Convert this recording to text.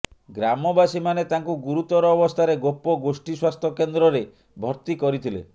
ଗ୍ରାମବାସୀମାନେ ତାଙ୍କୁ ଗୁରୁତର ଅବସ୍ଥାରେ ଗୋପ ଗୋଷ୍ଠୀ ସ୍ବାସ୍ଥ୍ୟ କେନ୍ଦ୍ରରେ ଭର୍ତ୍ତି କରିଥିଲେ